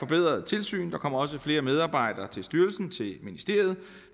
bedre tilsyn der kommer også flere medarbejdere til styrelsen til ministeriet